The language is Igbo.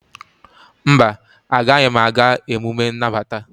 mba, agaghị m aga emume nnabata.